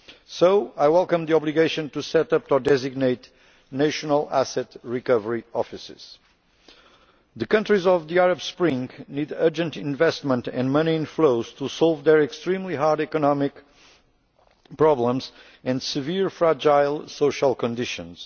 So I welcome the obligation to set up or designate national asset recovery offices. The countries of the Arab Spring need urgent investment in money and flows to solve their extremely hard economic problems and severe, fragile social conditions.